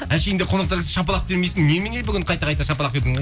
әшейінде қонақтар келсе шапалақ бермейсің немене бүгін қайта қайта шапалақ бердің